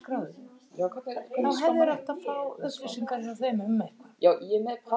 Fertugsaldur hefst við þrítugsafmæli.